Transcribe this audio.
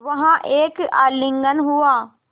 वहाँ एक आलिंगन हुआ